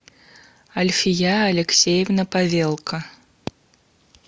альфия алексеевна павелко